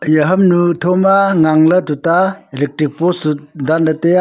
eya hamnu tho ma ngang ley tuta electric post dan ley tai a.